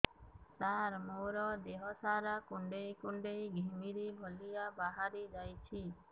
ସାର ମୋର ଦିହ ସାରା କୁଣ୍ଡେଇ କୁଣ୍ଡେଇ ଘିମିରି ଭଳିଆ ବାହାରି ଯାଉଛି